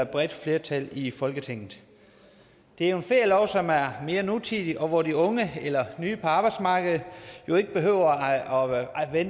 bredt flertal i folketinget det er en ferielov som er mere nutidig og hvor de unge eller nye på arbejdsmarkedet jo ikke behøver at arbejde